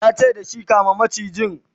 yace dashi "kama macijin!